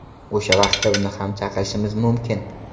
O‘sha vaqtda uni ham chaqirishimiz mumkin.